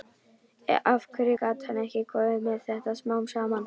Af hverju gat hann ekki komið með þetta smám saman?